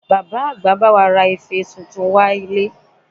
Bàbá àgbà bá wa ra ife tuntun wá ilé